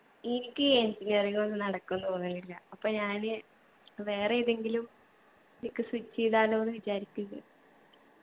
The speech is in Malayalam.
എനിക്ക് ഈ engineering ഒന്നും നടക്കും തോന്നുന്നില്ല അപ്പൊ ഞാന് വേറെ ഏതെങ്കിലും ലേക്ക് switch എയ്താലൊന്ന് വിചാരിക്കിന്ന്